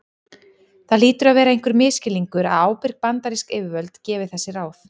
það hlýtur að vera einhver misskilningur að ábyrg bandarísk yfirvöld gefi þessi ráð